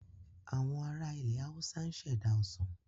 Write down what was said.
Àwọn ara ilẹ̀ Haúsá ń ṣẹ̀dá Ọsàn